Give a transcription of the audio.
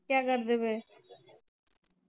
ਕਿਆ ਕਰਦੇ ਪੈ?